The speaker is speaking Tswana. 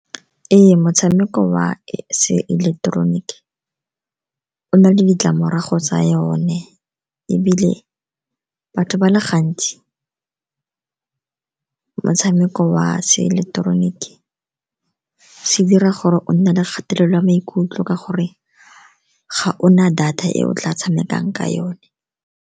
Ee, motshameko wa se eleketeroniki o na le ditlamorago tsa yone, ebile batho ba le gantsi motshameko wa se eleketeroniki se dira gore o nne le kgatelelo ya maikutlo ka gore ga ona data e o tla tshamekang ka yone.